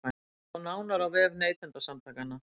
Sjá nánar á vef Neytendasamtakanna